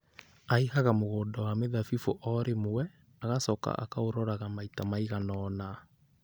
Aaihaga mũgũnda wa mĩthabibũ o rĩmwe, agacoka akaũroraga maita maigana ũna.